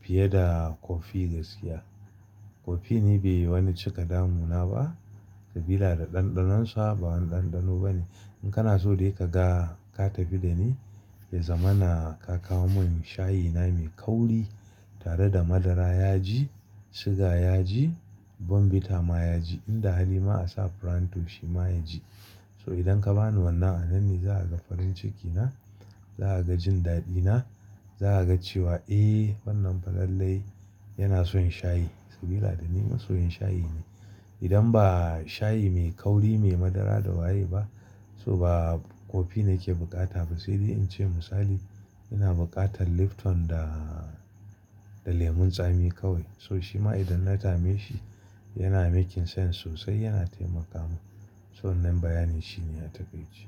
fiye da kofi gaskiya. Kofi ni bai yi wani cika damu na ba sabila da ɗanɗanon sa ba wani ɗanɗano bane. In kana so dai ka ga, ka tafi da ni, ya zamana ka kawo min shayi na mai kauri tare da madara ya ji, siga ya ji, bombita ma ya ji. In da hali ma a sa farantus shima ya ji. So idan ka ba ni wannan, a nan ne za a ga farin ciki na. Za a ga jin daɗi na. Za a ga cewa, "Eh, wannan falalai yana son shayi" sabida da ni masoyin shayi ne. Idan ba shayi mai kauri, mai madara da waye ba, so ba kofi nake bukata ba. Sai dai in ce misali, ina bukatan Lipton da, da lemon tsami kawai. So shima idan na yi tame shi, yana making sense sosai yana taimaka mun. So wannan bayanin shine a takaici.